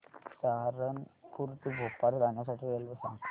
सहारनपुर ते भोपाळ जाण्यासाठी रेल्वे सांग